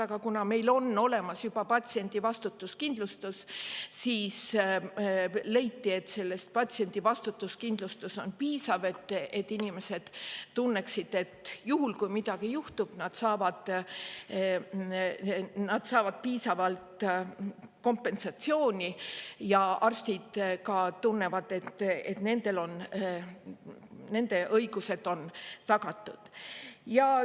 Aga kuna meil on olemas juba vastutuskindlustus, siis leiti, et see on piisav, selleks et inimesed tunneksid, et juhul kui midagi juhtub, nad saavad piisavalt kompensatsiooni, ja ka arstid tunnevad, et nende õigused on tagatud.